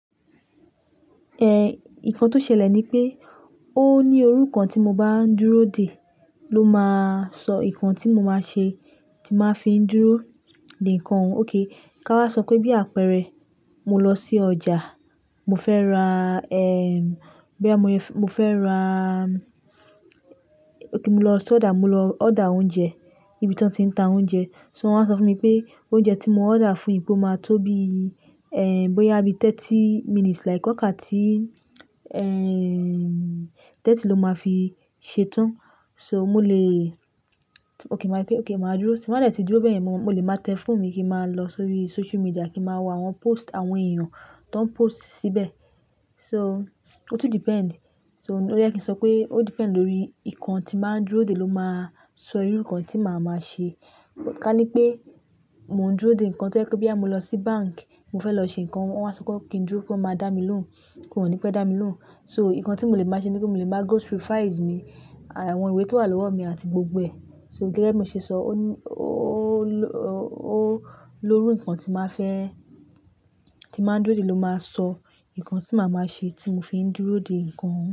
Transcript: Ehn, nǹkan tó ṣẹlẹ̀ ni pé ó ní oru nkan tí mo bá ń dúró dè ló máa sọ ǹkan tí mo máa ṣe tí n máa fi ń dúró dè ǹkan. Okay, ká wá sọ pé bí àpẹẹrẹ mo lọ sí ọjà, mo fẹ́ ra, ehm, boya mo fẹ́ ra, okay mo lọ sodo, mo lọ order oúnjẹ nibi tí wọ́n ti ń ta oúnjẹ. So wọ́n á sọ fún mi pé oúnjẹ tí mo ọ́dà fún yì pé ó máa tó bí, ẹ̀hǹ, bóyá bíi 30 minutes like ọ̀kà tí, ehn, 30 ló máa fi ṣetán. So mo lè, t'ó pé óké màá gbé, óké màá dúró sí, tí m bá dẹ̀ ti dúró báyẹn, mo lè máa tẹ fóònù mi kí n máa lọ sórí social media kí ma wá àwọn post àwọn èèyàn tọ́n post síbẹ̀. So, ó tún depend. So ló jẹ́ ẹ́ kí n sọ pé ó depend lórí ǹkan tí màá ń dúró dè ló máa sọ irú ǹkan tí màá máa ṣe. Ka ní pé mò ń dúró dè ǹkan tó jẹ́ pé bóyá mo lọ sí báǹkì, mo fẹ́ lọ ṣe ǹkan, wọ́n á sọ kí n dúró pé wọ́n máa dá mi lóhùn, wọ́n ò ní pẹ́ dá mi lóhùn. So ǹkan tí mo lè máa ṣe ni pé mo lè máa go through files mi à àwọn ìwé tó wà lọ́wọ́ mi àti gbogbo ẹ̀. So gẹ́gẹ́ bí mo ṣe sọ, ó ló, ó ló rú nǹkan tí màá fẹ́, tí màá ń dúró dè ló máa sọ nǹkan tí màá máa ṣe tí mo fi ń dúró dè nǹkan ọ̀ún.